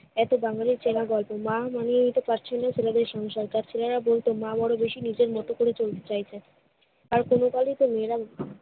এতো বাঙালির চেনা গল্প। মা মানিয়ে নিতে পারছে না ছেলেদের সংসার। তার ছেলেরা বলতো মা বড় বেশি নিজের মতো করে চলতে চাইছে। আর কোনো কালেই তো মেয়েরা